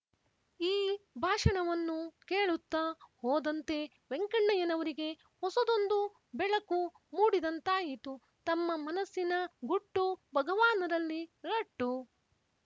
ಈ ಭಾಷಣವನ್ನು ಕೇಳುತ್ತ ಹೋದಂತೆ ವೆಂಕಣ್ಣಯ್ಯನವರಿಗೆ ಹೊಸದೊಂದು ಬೆಳಕು ಮೂಡಿದಂತಾಯಿತು ತಮ್ಮ ಮನಸ್ಸಿನ ಗುಟ್ಟು ಭಗವಾನರಲ್ಲಿ ರಟ್ಟು